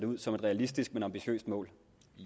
med som et realistisk men ambitiøst mål